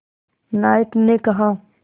नायक ने कहा